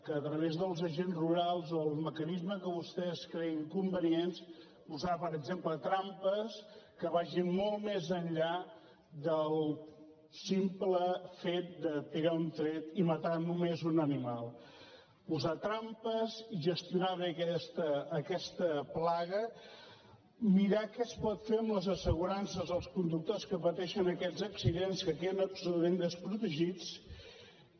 a través dels agents rurals o els mecanismes que vostès creguin convenients posar per exemple trampes que vagin molt més enllà del simple fet de tirar un tret i matar només un animal posar trampes gestionar bé aquesta plaga mirar què es pot fer amb les assegurances dels conductors que pateixen aquests accidents que queden absolutament desprotegits i